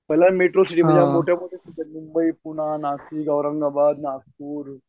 metro city ज्या मोठ्या मोठ्या सिटी आहेत मुंबई, पूना, नाशिक, औरंगाबाद, नागपूर